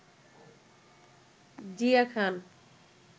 Zia Khan